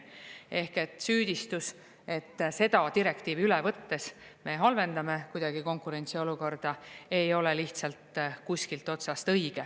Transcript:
Ehk et süüdistus, et seda direktiivi üle võttes me halvendame kuidagi konkurentsiolukorda, ei ole lihtsalt kuskilt otsast õige.